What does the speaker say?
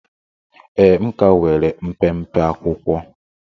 Ee, m ka nwere mpempe akwụkwọ